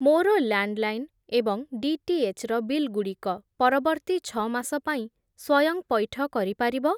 ମୋର ଲ୍ୟାଣ୍ଡ୍‌ଲାଇନ୍ ଏବଂ ଡିଟିଏଚ୍‌ ର ବିଲ୍‌ଗୁଡ଼ିକ ପରବର୍ତ୍ତୀ ଛଅ ମାସ ପାଇଁ ସ୍ଵୟଂ ପଇଠ କରିପାରିବ?